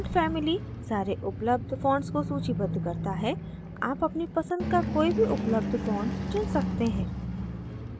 font family सारे उपलब्ध fonts को सूचीबद्ध करता है आप अपनी पसंद का कोई भी उपलब्ध font चुन सकते हैं